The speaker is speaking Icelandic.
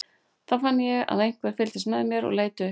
Þá fann ég að einhver fylgdist með mér og leit upp.